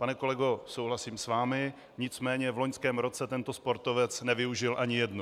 Pane kolego, souhlasím s vámi, nicméně v loňském roce tento sportovec nevyužil ani jednu.